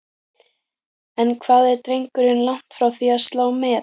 En hvað er drengurinn langt frá því að slá met?